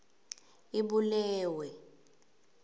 ibulewe